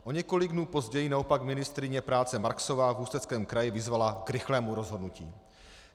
O několik dnů později naopak ministryně práce Marksová v Ústeckém kraji vyzvala k rychlému rozhodnutí.